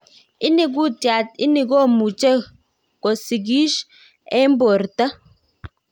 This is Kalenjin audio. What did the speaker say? Ini kutiat ini komuche kosikish eng porta?